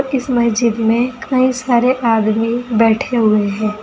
इस मस्जिद में कई सारे आदमी बैठे हुए हैं।